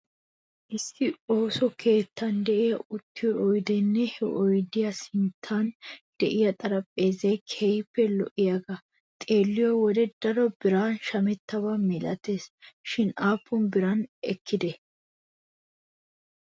Issi ooso keettan de'iyaa uttiyoo oydeenne he oydiyaa sinttan de'iyaa xarphpheezay keehippe lo'iyaagee xeeliyoo wodiyan daro biran shamettaba milates shin aappun bira ekkideeshsha?